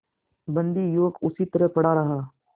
बंदी युवक उसी तरह पड़ा रहा